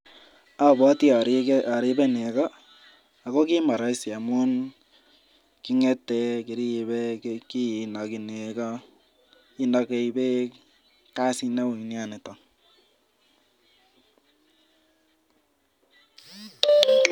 Abwotii aribe negoo ako kimon koroisii amun, kingetee, kiribee kinegii beek. Kasit neui nia nitok